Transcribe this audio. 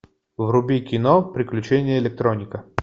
вруби кино приключения электроника